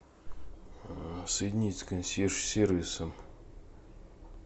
соединить с консьерж сервисом